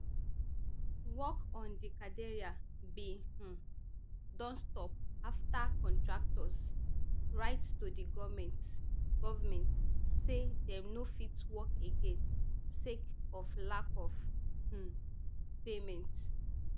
work on di cathedral bin um don stop afta contractors write to di goment government say dem no fit work again sake of lack of um payment